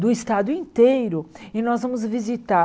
do Estado inteiro, e nós vamos visitar.